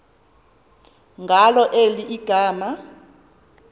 ngalo eli gama